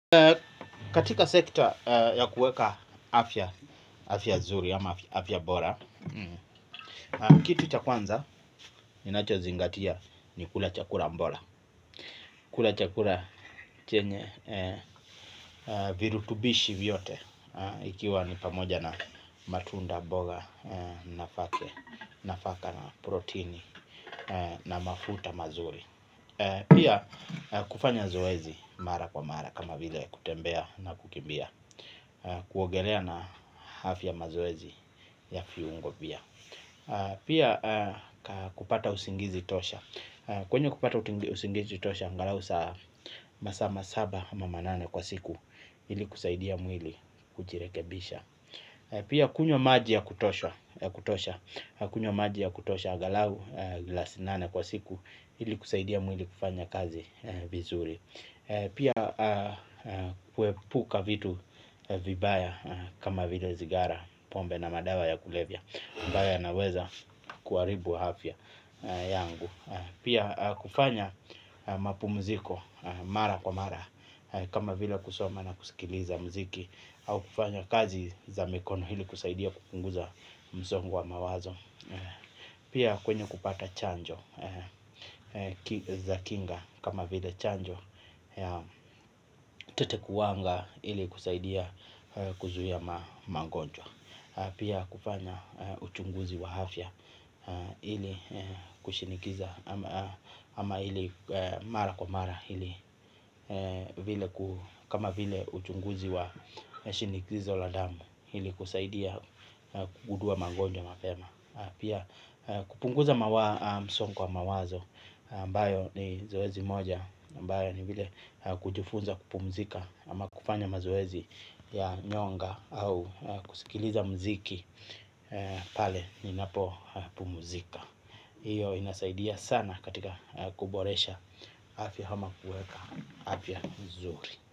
Katika sekta ya kuweka afya nzuri ama afya bora, kitu cha kwanza ninachozingatia ni kula chakula bora. Kula chakula chenye virutubishi vyote. Ikiwa ni pamoja na matunda, mboga, nafaka, protini na mafuta mazuri pia. Kufanya zoezi mara kwa mara kama vile kutembea na kukimbia. Kuogelea na afya mazoezi ya viungo pia. Pia kupata usingizi tosha. Kwenye kupata usingizi tosha, angalau saa saba ama nane kwa siku. Ili kusaidia mwili kujirekebisha pia kunywa maji ya kutosha, angalau glasi nane kwa siku. Hili husaidia mwili kufanya kazi vizuri. Pia kuepuka vitu vibaya kama vile zigara pombe na madawa ya kulevya. Mbaya yanaweza kuaribu hafya yangu. Pia kufanya mapu mziko mara kwa mara. Kama vile kusoma na kusikiliza mziki au kufanya kazi za mikono hili kusaidia kupunguza mzongo wa mawazo. Pia kwenye kupata chanjo za kinga kama vile chanjo Tete kuwanga ili kusaidia kuzuhia mangonjwa. Pia kufanya uchunguzi wa hafia ili kushinikiza ama ili mara kwa mara. Kama vile uchunguzi wa shinikizo la damu ili kusaidia kugudua mangonjwa mapema. Pia kupunguza msongo wa mawazo mbayo ni zoezi moja mbayo ni vile kujufunza kupumzika ama kufanya mazoezi ya nyonga au kusikiliza mziki. Pale ni napo pumuzika. Iyo inasaidia sana katika kuboresha afi hama kueka afia mzuri.